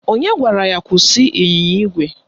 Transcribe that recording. Onye gwara ya kwụsị ịnyịnya ígwè?